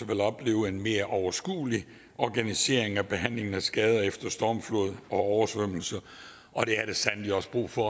vil opleve en mere overskuelig organisering af behandlingen af skader efter stormflod og oversvømmelse og det er der sandelig også brug for